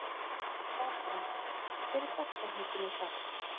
Valbrandur, hver er dagsetningin í dag?